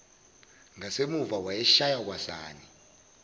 ngasemuva wayeshaya kwasani